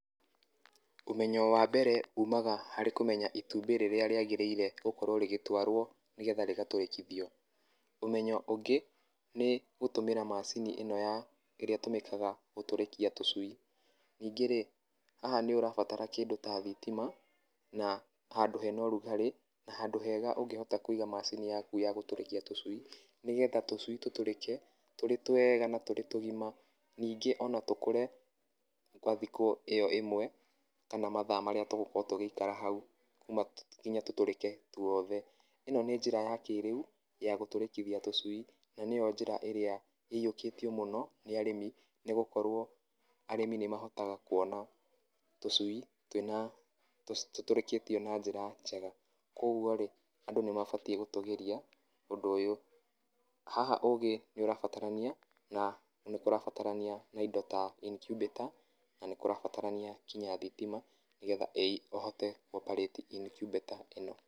Ũmenyo wa mbere umaga harĩ kũmenya itũmbĩ rĩrĩa rĩagĩrĩire gũkorwo rĩgĩtwarwo nĩgetha rĩgatũrĩkithio. Ũmenyo ũngĩ nĩ gũtũmĩra macini ĩno ya ĩrĩa ĩtũmĩkaga gũtũrĩkia tũcui. Ningĩ rĩ, haha nĩ ũrabatara kĩndũ ta thitima na handũ hena ũrugarĩ, na handũ hega ũngĩhota kũiga macini yaku ya gũtũrĩkia tũcui. Nĩgetha tũcui tũtũrĩke tũrĩ twega ma tũrĩ tũgima. Ningĩ ona tũkũre gwa thikũ ĩyo ĩmwe kana mathaa marĩa tũgũkorwo tũgĩikara hau nginya tũtũrĩke tũothe. ĩno nĩ njĩra ya kĩĩrĩu ya gũtũrĩkithia tũcui na nĩyo njĩra ĩrĩa ĩiyũkĩtio mũno nĩ arĩmi. Nĩ gũkorwo arĩmi nĩ mahotaga kuona tũcui twĩna tũtũrĩkĩtio na njĩra njega. Koguo riĩ andũ nĩ mabatiĩ gũtũgĩria ũndũ ũyũ. Haha ũũgĩ nĩ ũrabatarania na nĩkũrabatarania na indo ta incubator, na nĩ kũrabatarania nginya thitima nĩgetha ũhote kũ operate incubator ĩno.